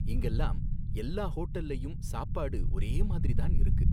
இங்கலாம் எல்லா ஹோட்டல்லயும் சாப்பாடு ஒரே மாதிரி தான் இருக்கு